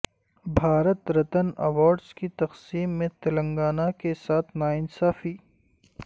Bharat Ratna awards کی تقسیم میں تلنگانہ کے ساتھ ناانصافی